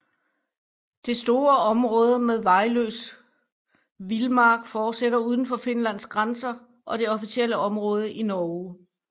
Det store område med vejløs vildmark fortsætter uden for Finlands grænser og det officielle område til Norge